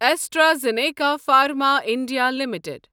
AstraZeneca Pharma India limited